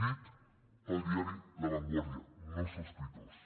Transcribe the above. dit pel diari la vanguardia no sospitós